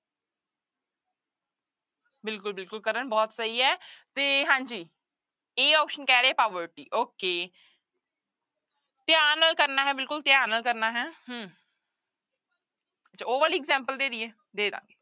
ਬਿਲਕੁਲ ਬਿਲਕੁਲ ਕਰਨ ਬਹੁਤ ਸਹੀ ਹੈ ਤੇ ਹਾਂਜੀ a option ਕਹਿ ਰਹੇ poverty okay ਧਿਆਨ ਨਾਲ ਕਰਨਾ ਹੈ ਬਿਲਕੁਲ ਧਿਆਨ ਨਾਲ ਕਰਨਾ ਹੈ ਹਮ ਉਹ ਵਾਲੀ example ਦੇ ਦੇਈਏ ਦੇ ਦੇਵਾਂਗੇ।